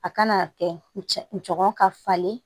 A kana kɛ cɛgɔ ka falen